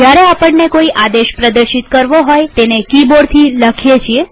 જયારે આપણને કોઈ આદેશ પ્રદર્શિત કરવો હોયતેને કિબોર્ડથી લખીએ છીએ